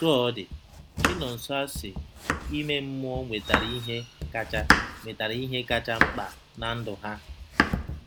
Otú ọ dị, Chinọnsoersi ime mmụọ nwetara ihe kacha nwetara ihe kacha mkpa na ndụ ha.